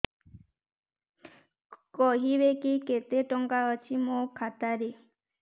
କହିବେକି କେତେ ଟଙ୍କା ଅଛି ମୋ ଖାତା ରେ